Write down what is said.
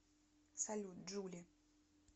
салют джули